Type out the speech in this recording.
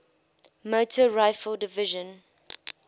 motor rifle division